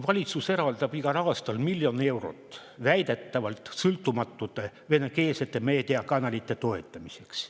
Valitsus eraldab igal aastal miljon eurot väidetavalt sõltumatute venekeelsete meediakanalite toetamiseks.